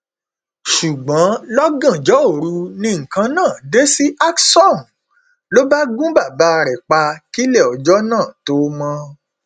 ṣùgbọn lọgànjọ òru ni nǹkan náà dé sí alksom ló bá gun bàbá rẹ pa kílẹ ọjọ náà tóo mọ